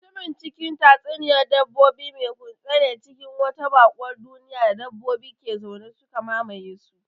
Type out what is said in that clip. Mutumin cikin tatsuniyar dabbobin mai kutse ne cikin wata baƙuwar duniya da dabbobi ke zaune, suka mamaye su.